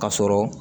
Ka sɔrɔ